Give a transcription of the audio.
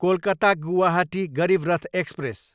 Kolkata, Guwahati Garib Rath express